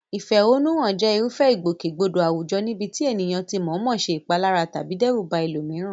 Ìfẹ̀hónúhàn jẹ́ irúfẹ́ ìgbòkègbodò àwùjọ níbi tí ẹnìkan ti mọ̀ọ́mọ̀ ṣe ìpalára tàbí dẹ́rù ba ẹlòmíràn.